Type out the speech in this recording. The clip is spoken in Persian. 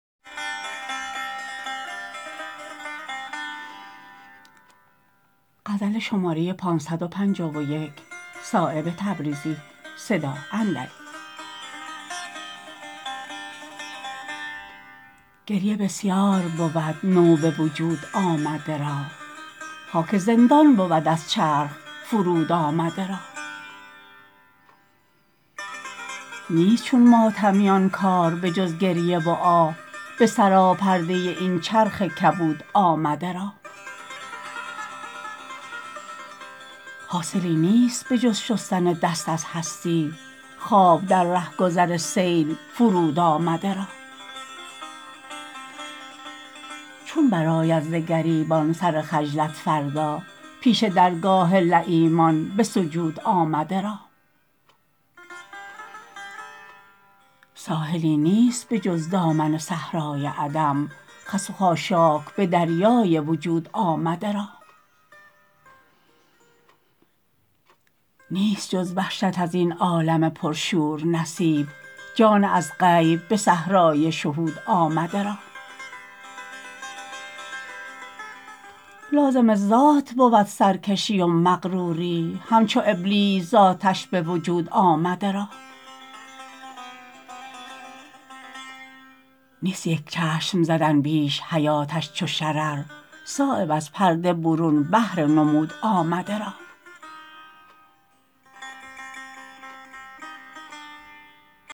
گریه بسیار بود نو به وجود آمده را خاک زندان بود از چرخ فرود آمده را نیست چون ماتمیان کار به جز گریه و آه به سراپرده این چرخ کبود آمده را حاصلی نیست به جز شستن دست از هستی خواب در رهگذر سیل فرود آمده را چون برآید ز گریبان سر خجلت فردا پیش درگاه لییمان به سجود آمده را ساحلی نیست به جز دامن صحرای عدم خس و خاشاک به دریای وجود آمده را نیست جز وحشت ازین عالم پرشور نصیب جان از غیب به صحرای شهود آمده را لازم ذات بود سرکشی و مغروری همچو ابلیس ز آتش به وجود آمده را نیست یک چشم زدن بیش حیاتش چو شرر صایب از پرده برون بهر نمود آمده را